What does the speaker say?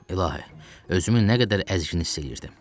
İlahi, özümü nə qədər əzik hiss eləyirdim.